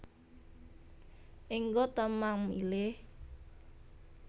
Engga ta mang milih